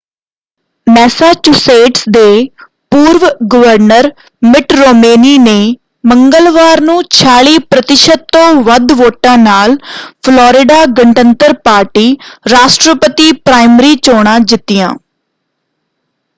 Massachusetts ਦੇ ਪੂਰਵ governor Mitt Romney ਨੇ ਮੰਗਲਵਾਰ ਨੂੰ 46 ਪ੍ਰਤਿਸ਼ਤ ਤੋਂ ਵੱਧ ਵੋਟਾਂ ਨਾਲ ਫਲੋਰਿਡਾ ਗਣਤੰਤਰ ਪਾਰਟੀ ਰਾਸ਼ਟਰਪਤੀ ਪ੍ਰਾਇਮਰੀ ਚੋਣਾਂ ਜਿੱਤੀਆਂ।